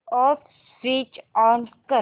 app switch on कर